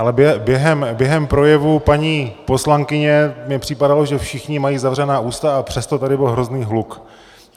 Ale během projevu paní poslankyně mi připadalo, že všichni mají zavřená ústa, a přesto tady byl hrozný hluk.